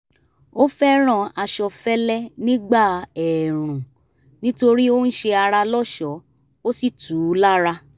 ó fẹ́ràn aṣọ fẹ́lẹ́ nígbà ẹ̀ẹ̀rùn nítorí ó ń ṣe ara lọ́ṣọ̀ọ́ ó sì tù ú lára